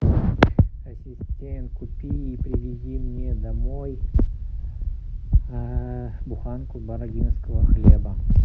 ассистент купи и привези мне домой буханку бородинского хлеба